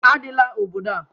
Adịla obodo a!